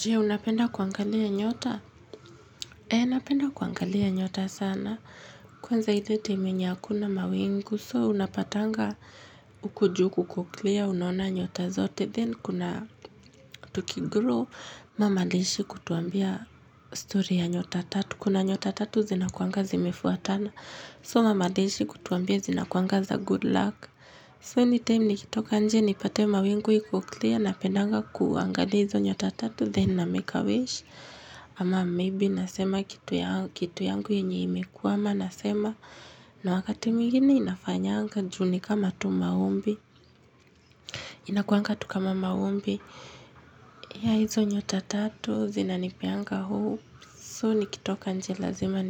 Je, unapenda kuangalia nyota? Eeh, napenda kuangalia nyota sana. Kwanza ile time yenye hakuna mawingu. So, unapatanga huku juu kukoklia, unaona nyota zote. Then, kuna tukigrow. Mama aliishi kutuambia story ya nyota tatu. Kuna nyota tatu zinakuanga zimefuatana. So, mama aliishi kutuambia zina kuanga za good luck. So, anytime nikitoka inje, nipate mawingu ikoklia. Na pendanga kuangalia hizo nyota tatu. Then, na make a wish. Ama maybe nasema kitu yangu yenye imekwama nasema na wakati mwingine inafanyanga juu ni kama tu maombi Inakuanga tu kama maombi ya hizo nyota tatu zinanipeanga hopes So nikitoka inje lazima